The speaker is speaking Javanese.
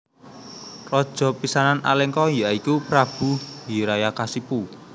Raja pisanan Alengka ya iku Prabu Hiranyakasipu